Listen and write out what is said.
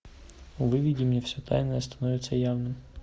выведи мне все тайное становится явным